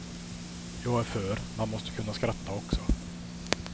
Jag är för, man måste kunna skratta också.